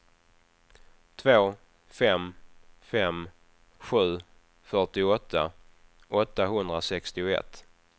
två fem fem sju fyrtioåtta åttahundrasextioett